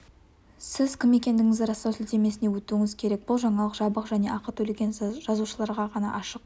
сіз кім екендігіңізді растау сілтемесіне өтуіңіз керек бұл жаңалық жабық және ақы төлеген жазылушыларға ғана ашық